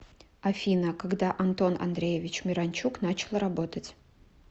афина когда антон андреевич миранчук начал работать